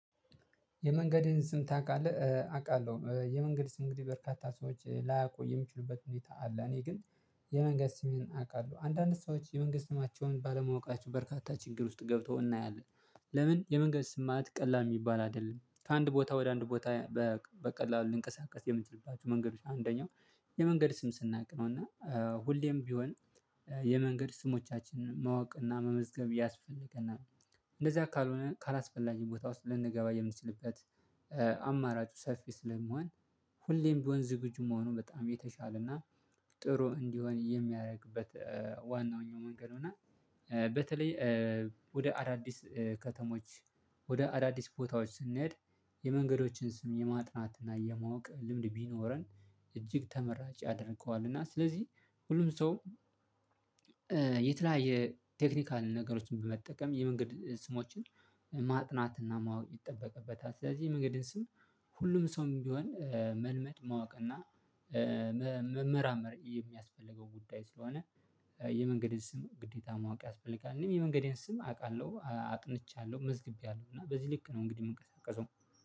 የመንገድን ስም ታውቃለህ? አውቃለሁ የመንገድ ስም እንግዲህ በርካታ ሰዎች ላያቁይ የሚችሉበት ሁኔታ አለ። እኔ ግን የመንገድ ስሜን አውቃለሁ አንዳንድ ሰዎች የመንገድ ስማቸውን ባለማወቃቸው በርካታ ችግር ውስጥ ገብተው እናያለን። ለምን የመንገድ ስም ማለት ቀላል የሚባል አይደለም ከአንድ ቦታ ወደ አንድ ቦታ? በቀላሉ ልንቀሳቀስ የምትልባቸው መንገዶች አንደኛው የመንገድ ስም ስናውቅ ነው። እና ሁሌም ቢሆን የመንገድ ስሞቻችን ማወቅ እና መመዝገብ ያስፈልገናል። እንደዚያ ካልሆነ ካላስፈላጊ ቦታ ውስጥ ልንገባ የምንችልበት። አማራጩ ሰፊ ስለመሆን ሁሌም ቢሆን ዝግጁ መሆኑን በጣም የተሻለና ጥሩ እንዲሆን የሚያደርግበት ዋነኛው መንገድ እና። በተለይ ወደ አዳዲስ ከተሞች ወደ አዳዲስ ቦታዎች ስንሄድ የመንገዶችን ስም የማጥናትና የማወቅ ልምድ ቢኖረን እጅግ ተመራጭ ያደርገዋል። እና ስለዚህ ሁሉም ሰው የተለያየ ቴክኒካል ነገሮችን በመጠቀም የመንገድ ስሞችን ማጥናት እና ማወቅ ይጠበቅበታል። ስለዚህ መንገድን ስም ሁሉም ሰውም ቢሆን መልመድ ማወቅ እና መመራመር የሚያስፈልገው ጉዳይ ስለሆነ። የመንገድን ስም ግዴታ ማወቅ ያስፈልጋል። እኔም የመንገዴን ስም አውቃለሁ አጥንቻለሁ መዝግቤያለሁ እና በዚህ ልክ ነው እንግዲህ የምንቀሳቀሰው።